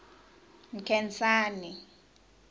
nkhensani